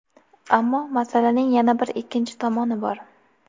Ammo masalaning yana bir ikkinchi tomoni bor.